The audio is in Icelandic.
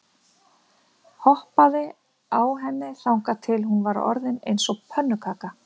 Hoppaði á henni þangað til hún var orðin eins og pönnukaka.